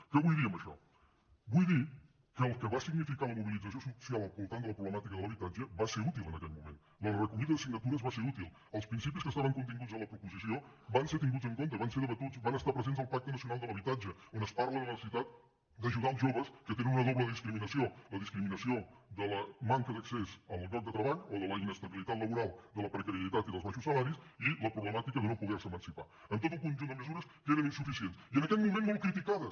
què vull dir amb això vull dir que el que va significar la mobilització social al voltant de la problemàtica de l’habitatge va ser útil en aquell moment la recollida de signatures va ser útil els principis que estaven continguts a la proposició van ser tinguts en compte van ser debatuts van estar presents al pacte nacional per a l’habitatge on es parla de la necessitat d’ajudar els joves que tenen una doble discriminació la discriminació de la manca d’accés al lloc de treball o de la inestabilitat laboral de la precarietat i dels baixos salaris i la problemàtica de no poder se emancipar amb tot un conjunt de mesures que eren insuficients i en aquell moment molt criticades